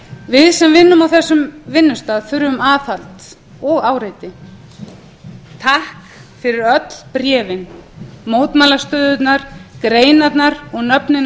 við sem vinnum á þessum vinnustað þurfum aðhald og áreiti takk fyrir öll bréfin mótmælastöðurnar greinarnar og nöfnin á undirskriftalistunum